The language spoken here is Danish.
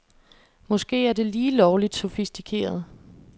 Måske er det lige lovligt sofistikeret.